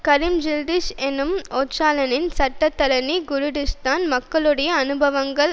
கரிம் ஜில்டிஸ் எனும் ஓச்சலானின் சட்டத்தரணி குருடிஸ்தான் மக்களுடைய அனுபவங்கள்